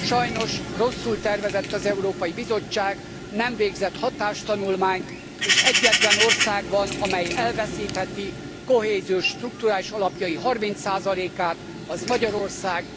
Sajnos rosszul tervezett az Európai Bizottság, nem végzett hatástanulmányt, és egyetlen ország van, amely elveszítheti kohéziós, strukturális alapjai 30 át, az Magyarország.